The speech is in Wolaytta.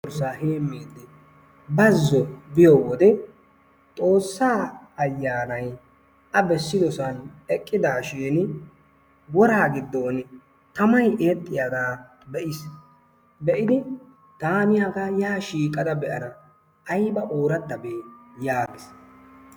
Dorssaa heemmidi bazzo biyo wode xoossaa ayaanay A bessiyosaan eqqidaashin woraa gidoon tamay eexxiyaagaa be'iis. Be'idi taani hagaa yaa shiiqada be'ana ayba oorattabee yaagiis.